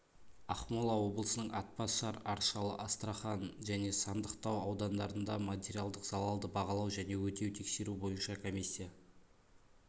ақмола облысының атбасар аршалы астрахан және сандықтау аудандарында материалдық залалды бағалау және өтеу тексеру бойынша комиссия